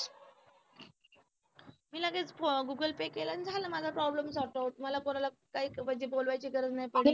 मी लगेच google pay केलं आणि झाला माझा problem sort out मला कोणाला काय म्हणजे बोलवायची गरज नाही पडली.